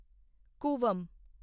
Cooum